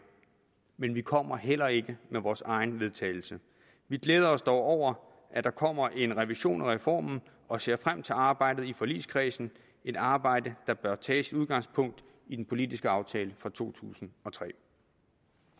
men vi kommer heller ikke med vores eget vedtagelse vi glæder os dog over at der kommer en revision af reformen og ser frem til arbejdet i forligskredsen et arbejde der bør tage sit udgangspunkt i den politiske aftale fra to tusind og tre